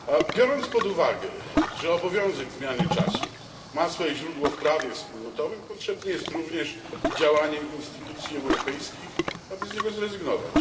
Biorąc pod uwagę, że obowiązek zmiany czasu ma swoje źródło w prawie wspólnotowym, potrzebne jest również działanie instytucji europejskich, aby z niego zrezygnować.